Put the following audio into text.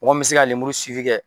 Mɔgɔ min mɛ se ka lemuru kɛ.